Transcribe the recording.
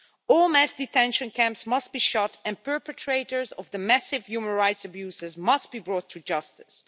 All mass detention camps must be shut and perpetrators of the massive human rights abuses must be brought to justice.